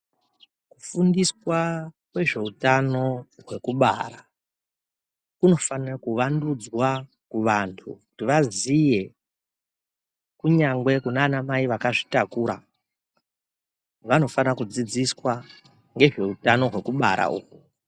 Kufundiswa kwezveutano kwekubara kunofanira kuvandudzwa kuvantu kuti vaziye kunyangwe kunana mai vakazvitakura vanofana kudzidziswa ngezveutano hwekubara uhwu.